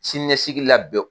Siniɲɛsigi lab